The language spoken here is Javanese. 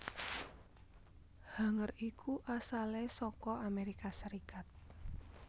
Hanger iku asalé saka Amérika Sarékat